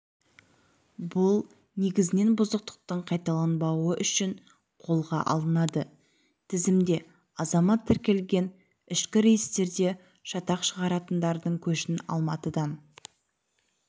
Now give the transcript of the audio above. бұл негізінен бұзақылықтың қайталанбауы үшін қолға алынады тізімде азамат тіркелген ішкі рейстерде шатақ шығаратындардың көшін алматыдан